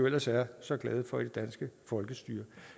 ellers er så glade for i det danske folkestyre